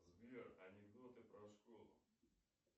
сбер анекдоты про школу